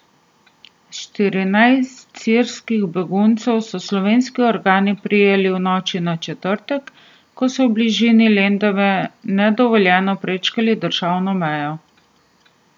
Štirinajst sirskih beguncev so slovenski organi prijeli v noči na četrtek, ko so v bližini Lendave nedovoljeno prečkali državno mejo.